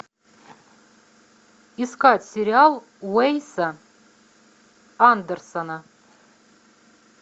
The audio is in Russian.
искать сериал уэса андерсона